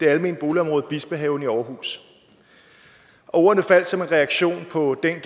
almene boligområde bispehaven i aarhus ordene faldt som en reaktion på den